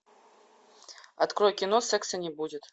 открой кино секса не будет